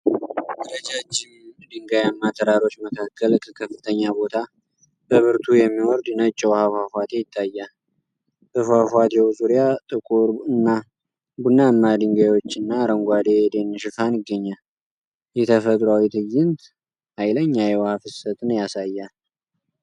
ረጃጅም ድንጋያማ ተራሮች መካከል ከከፍተኛ ቦታ በብርቱ የሚወርድ ነጭ የውሃ ፏፏቴ ይታያል። በፏፏቴው ዙሪያ ጥቁር እና ቡናማ ድንጋዮችና አረንጓዴ የደን ሽፋን ይገኛል። ይህ ተፈጥሯዊ ትዕይንት ኃይለኛ የውሃ ፍሰትን ያሳያል።